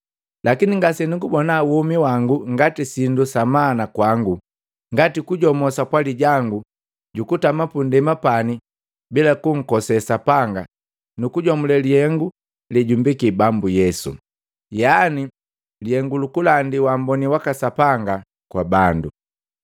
Lakini ngasenugubona womi wangu ngati sindu sa mana kwangu, ngati kujomo sapwali jangu jukutama pundema pani bila kunkosee Sapanga nukujomule lihengu lejumbeki Bambu Yesu, yaani lihengu lukulandi waamboni waka Sapanga kwa bandu.